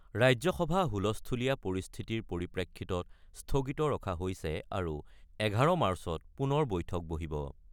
ৰাজ্যসভা হুলস্থুলীয়া পৰিস্থিতিৰ পৰিপ্ৰেক্ষিতত স্থগিত ৰখা হৈছে আৰু ১১ মাৰ্চত পুনৰ বৈঠক বহিব।